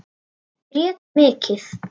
Grét mikið.